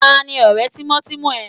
Ta ni ọ̀rẹ́ tímọ́tímọ́ rẹ?